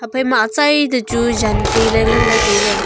ephai ma atsai toh chu jan kai ley ngan ley.